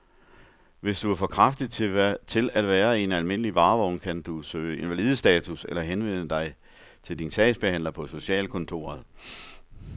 Hvis du er for kraftig til at være i en almindelig varevogn, kan du kan søge invalidestatus eller henvende dig til din sagsbehandler på socialkontoret.